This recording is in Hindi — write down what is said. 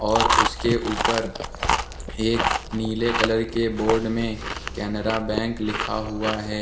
और उसके ऊपर एक नीले कलर के बोर्ड में केनरा बैंक लिखा हुआ है।